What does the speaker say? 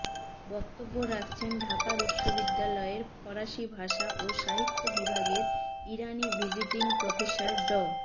বক্তব্য রাখছেন ঢাকা বিশ্ববিদ্যালয়ের ফারসি ভাষা ও সাহিত্য বিভাগের ইরানি ভিজিটিং প্রফেসর ড